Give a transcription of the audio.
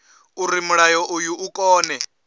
uri mulayo uyu u kone